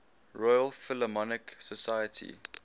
royal philharmonic society